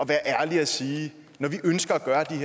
være ærlig og sige når vi ønsker